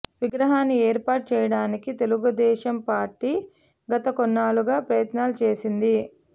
విగ్రహాన్ని ఏర్పాటు చేయడానికి తెలుగు దేశం పార్టీ గత కొన్నేళ్ళుగా ప్రయత్నాలు చేసింది